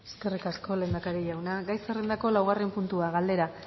eskerrik asko lehendakari jauna gai zerrendako laugarren puntua galdera